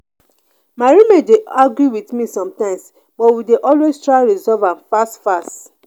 my roommate dey argue with me sometimes but we dey always try resolve am fast fast.